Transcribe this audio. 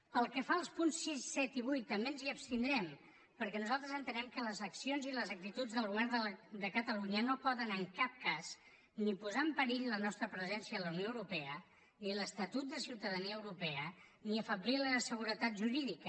pel que fa als punts sis set i vuit també ens hi abstindrem perquè nosaltres entenem que les accions i les actituds del govern de catalunya no poden en cap cas ni posar en perill la nostra presència a la unió europea ni l’estatut de ciutadania europea ni afeblir la seguretat jurídica